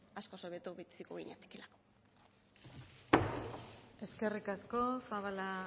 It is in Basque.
askoz hobeto biziko ginateke eskerrik asko zabala